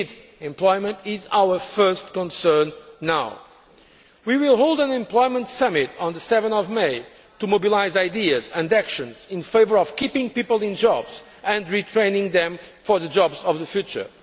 Indeed, employment is our first concern now. We will hold an Employment Summit on 7 May to mobilise ideas and actions in favour of keeping people in jobs and retraining them for the jobs of the future.